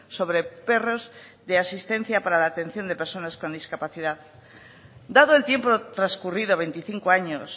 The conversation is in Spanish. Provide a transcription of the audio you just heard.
sobre perros de asistencia para la atención de personas con discapacidad dado el tiempo transcurrido veinticinco años